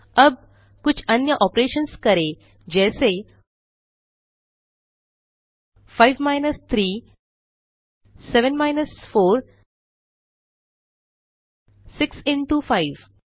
अब कुछ अन्य ऑपरेशन्स करें जैसे 5 माइनस 3 7 माइनस 4 6 इंटो 5